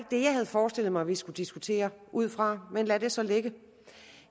det jeg havde forestillet mig vi skulle diskutere ud fra men lad det så ligge